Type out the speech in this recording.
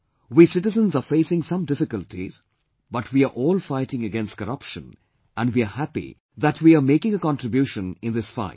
We citizens are facing some difficulties, but we are all fighting against corruption and we are happy that we are making a contribution in this fight